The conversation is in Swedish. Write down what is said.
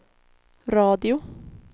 radio